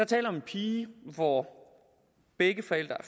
tale om en pige hvor begge forældre